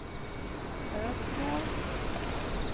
Ödsmål